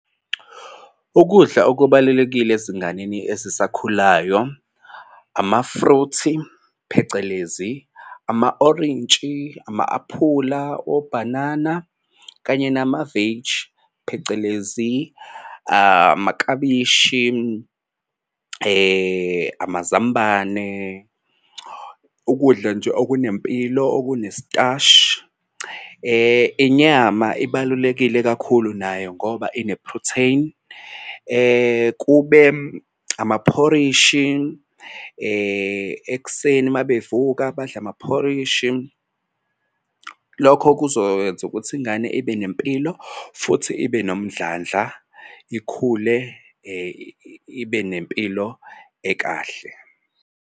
Ukudla okubalulekile ezinganeni ezisakhulayo ama-fruit-i phecelezi ama-orintshi, ama-aphula, obhanana kanye namaveji phecelezi amaklabishi amazambane. Ukudla nje okunempilo okunestashi. Inyama ibalulekile kakhulu nayo ngoba ine-protein kube amaphorishi ekuseni uma bevuka badle amaphorishi. Lokho kuzowenza ukuthi ingane ibe nempilo futhi ibe nomdlandla, ikhule ibe nempilo ekahle.